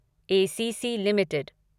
ACC limited